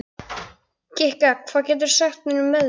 Kikka, hvað geturðu sagt mér um veðrið?